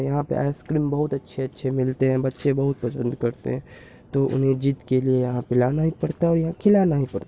यहाँ पे ice cream बहुत अच्छे-अच्छे मिलते हैं बच्चें बहुत पसंद करते हैं तो उन्हें ज़िद के लिए यहाँ पे लाना ही पड़ता है और यहाँ खिलाना ही पड़ता---